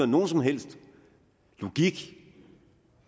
nogen som helst logik